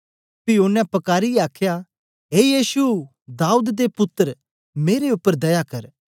पी ओनें पकारीयै आखया ए यीशु दाऊद दे पुत्तर मेरे उपर दया कर